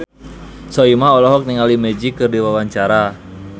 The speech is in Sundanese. Soimah olohok ningali Magic keur diwawancara